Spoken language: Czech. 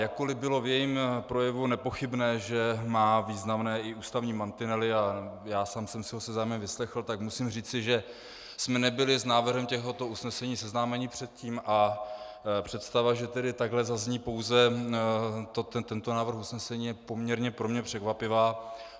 Jakkoliv bylo v jejím projevu nepochybné, že má významné i ústavní mantinely a já sám jsem si ho se zájmem vyslechl, tak musím říci, že jsme nebyli s návrhem tohoto usnesení seznámeni předtím, a představa, že tedy takhle zazní pouze tento návrh usnesení, je poměrně pro mě překvapivá.